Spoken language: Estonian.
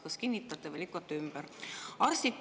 Kas kinnitate või lükkate ümber?